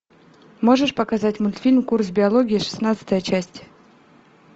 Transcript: можешь показать мультфильм курс биологии шестнадцатая часть